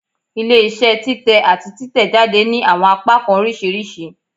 Ile-iṣẹ titẹ ati titẹjade ni awọn apakan oriṣiriṣi